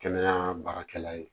Kɛnɛya baarakɛla ye